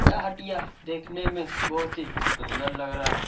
यह हटिया देखने में बहुत ही सुंदर लग रहा है।